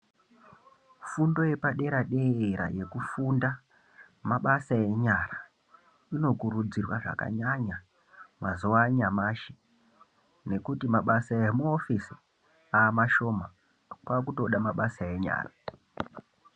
Fundo yepadera dera yekufunda mabasa enyara inokurudzirwa zvakanyanya mazuwa anyamashi nekuti mabasa emuhofisi amashoma pakutoda mabasa enyara.